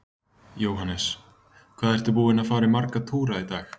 Jóhannes: Hvað ertu búinn að fara marga túra í dag?